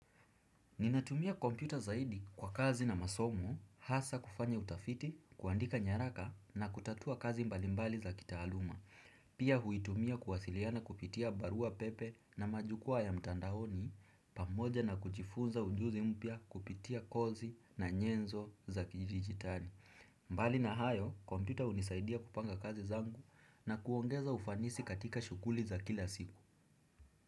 Ninatumia kompyuta zaidi kwa kazi na masomo, hasa kufanya utafiti, kuandika nyaraka na kutatua kazi mbalimbali za kitaaluma. Pia huitumia kuwasiliana kupitia barua pepe na majukwaa ya mitandaoni, pamoja na kujifunza ujuzi mpya kupitia kozi na nyenzo za kidijitali. Mbali na hayo, kompita unisaidia kupanga kazi zangu na kuongeza ufanisi katika shukuli za kila siku.